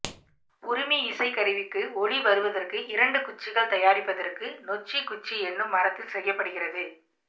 உறுமி இசை கருவிக்கு ஒலி வருவதற்கு இரண்டு குச்சிகள் தயாரிப்பதற்கு நொச்சி குச்சி எனும் மரத்தில் செய்யப்படுகிறது